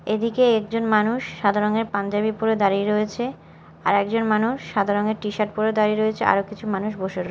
এদিকে একজন মানুষ সাদা রঙের পাঞ্জাবি পরে দাঁড়িয়ে রয়েছে আর একজন মানুষ সাদা রঙের টিশার্ট পরে দাঁড়িয়ে রয়েছে আরও কিছু মানুষ বসে রয়ে--